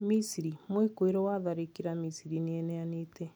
Misri: Mwĩkũĩrwo wa itharĩkĩra Misri nĩeneanĩte